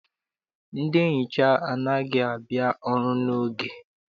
Ndị nhicha anaghị abịa ọrụ n'oge.